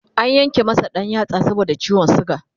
an Yanke masa ɗan yatsa saboda ciwon suga